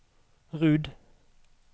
Rud